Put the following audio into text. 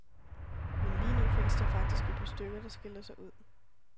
Men lige nu findes der faktisk et par stykker, der skiller sig ud.